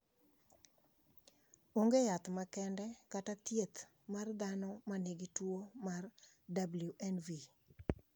onge yath makende kata thieth mat dhano ma nigi tuwo mar WNV